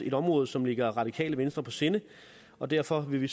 et område som ligger radikale venstre på sinde og derfor vil vi